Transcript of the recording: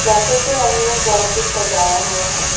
Cafe के अंदर बहोत कुछ सजाया हुआ है।